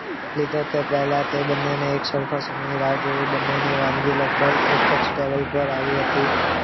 લીધો તે પહેલા તે બંનેની એક સરખો સમયની રાહ જોઈ બંનેની વાનગી લગભગ એક જ ટેબલ પર આવી હતી.